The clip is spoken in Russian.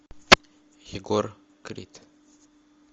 егор крид